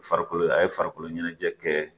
Farikolo a ye farikolo ɲɛnajɛ kɛ